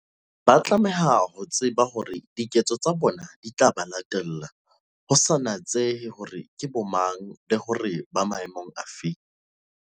Ba tlameha ho tseba hore diketso tsa bona di tla ba latella, ho sa natsehe hore ke bomang, le hore ba maemong a feng.